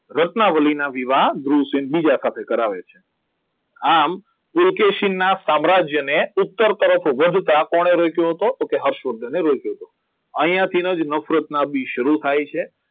રત્નાવલીના વિવાહ ધ્રુવસેન બીજા સાથે કરાવે છે આમ પુલકેશીનના સામ્રાજ્ય અને ઉત્તર વધતા કોણે રોક્યો હતો તો કે હર્ષવર્ધન રોક્યો હતો. અહીંયા થી જ નફરતના બીજ શરૂ થાય છે